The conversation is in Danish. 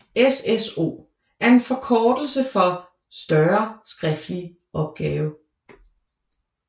SSO er en forkortelse for større skriftlig opgave